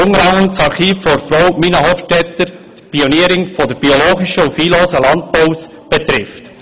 Dies betrifft unter anderem das Archiv von Frau Mina Hofstetter, einer Pionierin des biologischen und viehlosen Landbaus.